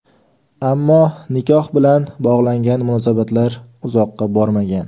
Ammo nikoh bilan bog‘langan munosabatlar uzoqqa bormagan.